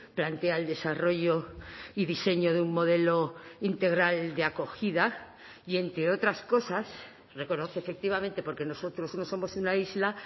plantea el desarrollo y diseño de un modelo integral de acogida y entre otras cosas reconoce efectivamente porque nosotros no somos una isla